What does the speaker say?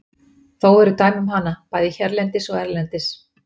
Þó eru dæmi um hana, bæði hérlendis og erlendis.